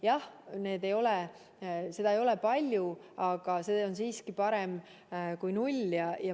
Jah, seda ei ole palju, aga see on siiski parem kui null.